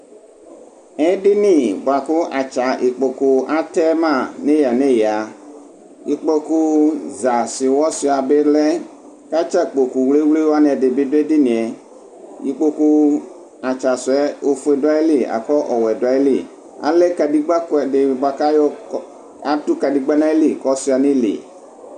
Edini bʋakʋ atɛ atsa ikpokʋ nʋ eya nʋ eya ikpokʋ za seʋwɔ suia bilɛ kʋ atsa kpokʋ wle wle wani bi dʋ edinie ikpokʋ atsa sʋ yɛ ofue dʋ ayili kʋ owɛ dʋ ayili alɛ kadegba kʋɛdi bʋakʋ atʋ ɔsuianʋ ili